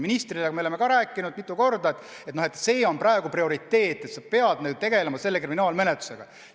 Ministriga me oleme ka rääkinud mitu korda, et see on praegu prioriteet, nüüd peab tegelema kriminaalmenetlusega.